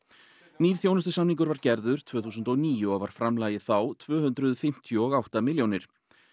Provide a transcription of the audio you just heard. nýr þjónustusamningur var gerður tvö þúsund og níu og var framlagið þá tvö hundruð fimmtíu og átta milljónir